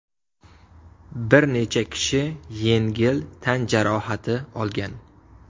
Bir necha kishi yengil tan jarohati olgan.